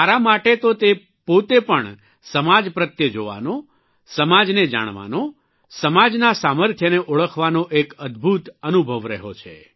મારા માટે તો તે પોતે પણ સમાજ પ્રત્યે જોવાનો સમાજને જાણવાનો સમાજના સામર્થ્યને ઓળખવાનો એક અદભૂત અનુભવ રહ્યો છે